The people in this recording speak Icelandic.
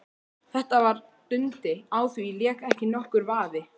Þetta var Dundi, á því lék ekki nokkur vafi.